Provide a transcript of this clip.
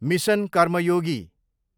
mission Karmayogi